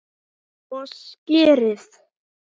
Og skyrið!